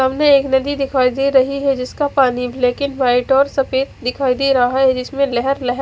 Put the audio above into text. सामने एक नदी दिखाई दे रही है जिसका पानी ब्लैक एंड वाइट और सफेद दिखाई दे रहा है जिसमे लहर लहर--